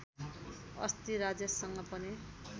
अस्ति राजेशसँग पनि